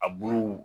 A buuruw